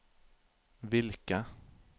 hvilke